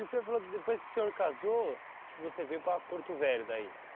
E o senhor falou que depois que o senhor casou, que você veio para Porto Velho, daí?